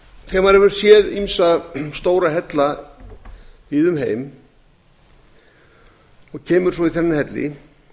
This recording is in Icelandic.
hefur séð ýmsa stóra hella víða um heim og kemur svo í þennan helli